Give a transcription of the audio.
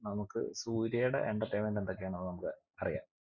നമ്മുക്ക് സൂര്യയുടെ entertainment എന്തൊക്കെയാ എന്ന് നമ്മുക്ക് അറിയാം